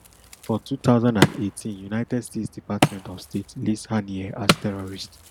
for two thousand and eighteen united states department of state list haniyeh as terrorist